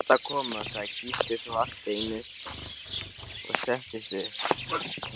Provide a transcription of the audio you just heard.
Nú er þetta að koma, sagði Gísli svo allt í einu og settist upp.